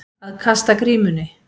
Að kasta grímunni